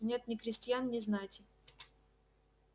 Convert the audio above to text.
нет ни крестьян ни знати